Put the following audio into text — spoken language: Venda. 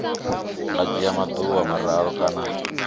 nga dzhia maḓuvha mararu kana